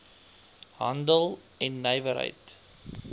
handel en nywerheid